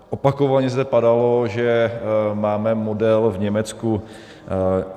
Opakovaně zde padalo, že máme model v Německu.